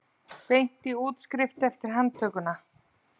Beint í útskrift eftir handtökuna